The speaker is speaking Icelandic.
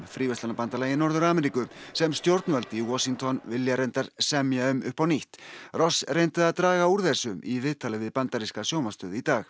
fríverslunarbandalagi Norður Ameríku sem stjórnvöld í Washington vilja reyndar semja um upp á nýtt reyndi að draga úr þessu í viðtali við bandaríska sjónvarpsstöð í dag